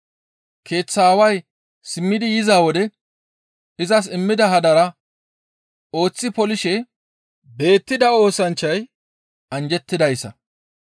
Keeththa aaway simmidi yiza wode izas immida hadara ooththi polishe beettida oosanchchay anjjettidayssa.